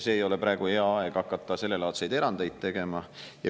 Ei ole praegu hea aeg hakata sellelaadseid erandeid tegema.